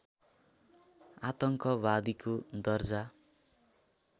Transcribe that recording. आतङ्कवादीको दर्जा